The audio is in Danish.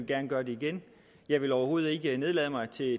gerne gøre igen jeg vil overhovedet ikke nedlade mig til at